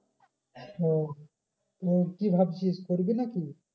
ও তো কি ভাবছিস করবি নাকি?